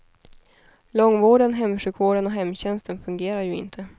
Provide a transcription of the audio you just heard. Långvården, hemsjukvården och hemtjänsten fungerar ju inte.